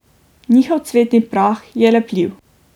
Njihov cvetni prah je lepljiv.